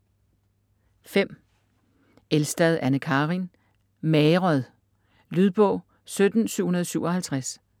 Elstad, Anne Karin: Magret Lydbog 17757